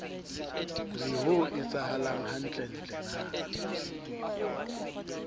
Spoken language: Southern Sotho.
re ho etsahalang hantlentle na